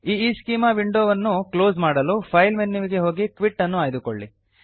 ಈಸ್ಚೆಮಾ window ಅನ್ನು close ಮಾಡಲು file ಮೆನುವಿಗೆ ಹೋಗಿ ಕ್ವಿಟ್ ಅನ್ನು ಆಯ್ದುಕೊಳ್ಳಿ